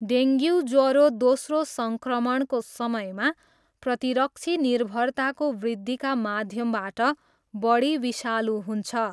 Dengue ज्वरो दोस्रो सङ्क्रमणको समयमा प्रतिरक्षी निर्भरताको वृद्धिका माध्यमबाट बढी विषालु हुन्छ।